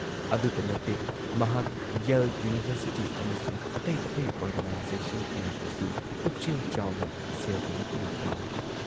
ꯑꯗꯨꯇ ꯅꯠꯇꯦ ꯃꯍꯥꯛ ꯌꯦꯜ ꯌꯨꯅꯤꯚꯔꯁꯤꯇꯤ ꯑꯃꯁꯨꯡ ꯑꯇꯩ ꯑꯇꯩ ꯑꯣꯔꯒꯅꯥꯏꯖꯦꯁꯟ ꯀꯌꯥꯗꯁꯨ ꯄꯨꯛꯆꯦꯜ ꯆꯥꯎꯅ ꯁꯦꯜꯒꯤ ꯃꯇꯦꯡ ꯄꯥꯡꯏ ꯫